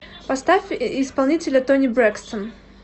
поставь исполнителя тони брэкстон